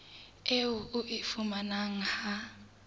eo o e fumanang ha